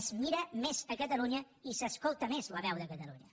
es mira més catalunya i s’escolta més la veu de catalunya